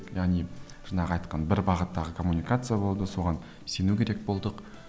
яғни жаңағы айтқан бір бағыттағы коммуникация болды соған сену керек болдық